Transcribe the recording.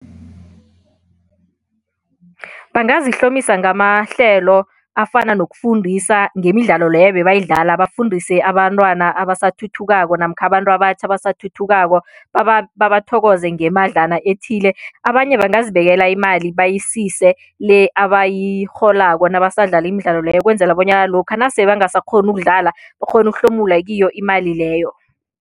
Bangazihlomisa ngamahlelo afana nokufundisa ngemidlalo leyo ebebayidlala, bafundise abantwana abasathuthukako namkha abantu abatjha abasathuthukako babathokoze ngemadlana ethile abanye bangazibekela imali bayisise le abayirholako nabasadlala imidlalo leyo ukwenzela bonyana lokha nasele bangasakghoni ukudlala bakghone ukuhlomula kiyo imali leyo.